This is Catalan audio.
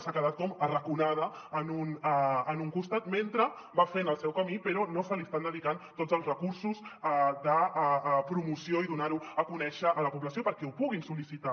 s’ha quedat com arraconada en un costat mentre va fent el seu camí però no se li estan dedicant tots els recursos de promoció i de donar ho a conèixer a la població perquè ho puguin sol·licitar